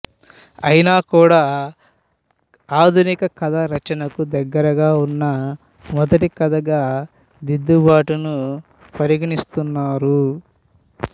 అయినా కూడా ఆధునిక కథా రచనకు దగ్గరగా వున్న మొదటి కథగా దిద్దుబాటును పరిగణిస్తున్నారు